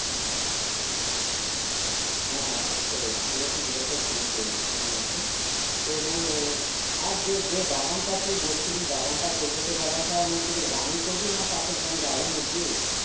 হ্যাঁ অবশ্যই সেটা তো জিজ্ঞাসা করবোই ঠিক আছে তো মানে আর জে বাগানটা তুই বলছিলি বাগান টা করব সেই বাগানটা মানে তোদের গ্রামে করবি না পাশের গ্রামে জায়গা নিয়েছিস